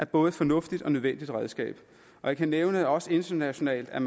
både fornuftigt og nødvendigt redskab jeg kan nævne at man også internationalt er